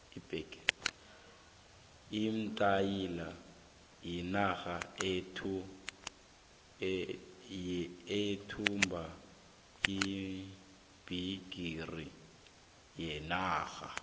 iitaly yinarha eyathumba ibhigiri yephasi